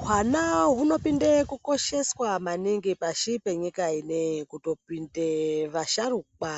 Hwana hunopinde kukosheswa maningi pashi penyika ineyi kutopinde vasharukwa